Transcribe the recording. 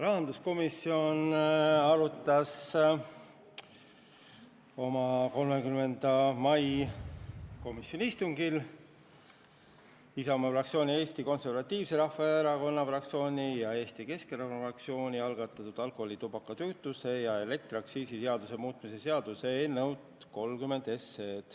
Rahanduskomisjon arutas oma 30. mai istungil Isamaa fraktsiooni, Eesti Konservatiivse Rahvaerakonna fraktsiooni ja Eesti Keskerakonna fraktsiooni algatatud alkoholi-, tubaka-, kütuse- ja elektriaktsiisi seaduse muutmise seaduse eelnõu 30.